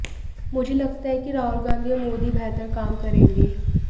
मुझे लगता है कि राहुल गांधी और मोदी बेहतर काम करेंगे